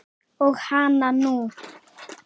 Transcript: Og hana nú!